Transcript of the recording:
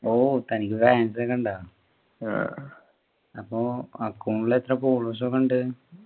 ഓ തനിക്ക് fans ഒക്കെ ഉണ്ടോ അപ്പൊ account ൽ എത്ര followers ഒക്കെ ഉണ്ട്